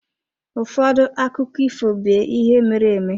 Ụfọdụ akụkọ ifo be ihe mere-eme.